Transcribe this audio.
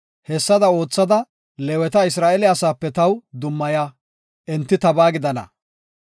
Hessada oothada Leeweta Isra7eele asape taw dummaya; enti tabaa gidana.